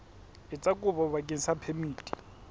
etsa kopo bakeng sa phemiti